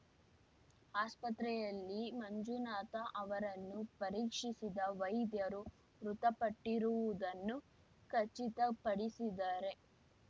ಆಸ್ಪತ್ರೆಯಲ್ಲಿ ಮಂಜುನಾಥ ಅವರನ್ನು ಪರೀಕ್ಷಿಸಿದ ವೈದ್ಯರು ಮೃತಪಟ್ಟಿರುವುದನ್ನು ಖಚಿತಪಡಿಸಿದ್ದಾರೆ